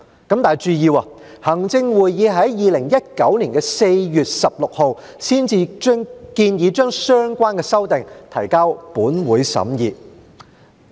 請注意，行政會議於2019年4月16日才建議將相關修訂提交本會審議。